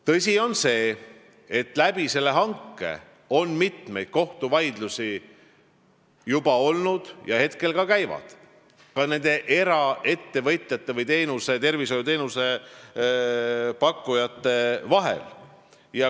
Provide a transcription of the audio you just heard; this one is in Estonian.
Tõsi on see, et selle hanke tõttu on juba mitmeid kohtuvaidlusi ja hetkel need käivad, neid on ka nendel eraettevõtjatel või eratervishoiuteenuse pakkujatel.